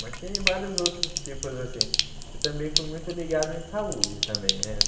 Mas tem vários outros tipos, assim, que também fui muito ligado em saúde também, né?